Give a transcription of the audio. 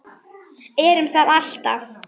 Erum það alltaf.